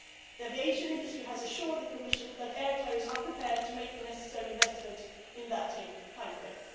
years. The aviation industry has assured the Commission that air carriers are prepared to make the necessary investment in that timeframe.